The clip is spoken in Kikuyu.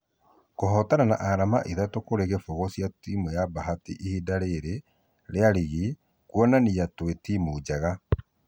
Kũhotana na arama ithatũ kũrĩ kĩfũgũ cia timũ ya bahari ihinda rĩri rĩa rigi nĩkũonania twe timũ njega.